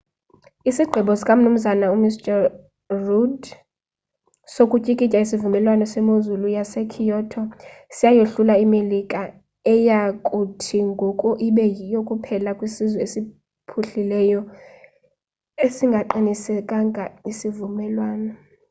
isigqibo sika mnu rudd sokutyikitya isivumelwano semozulu yasekyoto siyayohlula imelika eya kuthi ngoku ibe yiyo kuphela kwesizwe esiphuhlileyo esingasiqinisekisiyo isivumelwano